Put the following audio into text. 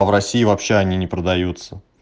а в россии вообще они не продаются